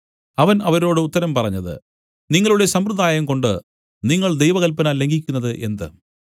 അവൻ അവരോട് ഉത്തരം പറഞ്ഞത് നിങ്ങളുടെ സമ്പ്രദായംകൊണ്ടു നിങ്ങൾ ദൈവകല്പന ലംഘിക്കുന്നത് എന്ത്